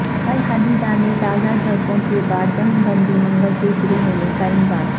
الحدیدہ میں تازہ جھڑپوں کے بعد جنگ بندی منگل سے شروع ہونے کا امکان